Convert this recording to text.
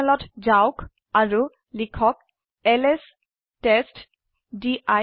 টাৰ্মিনলত যওক অাৰু লিখক এলএছ টেষ্টডিৰ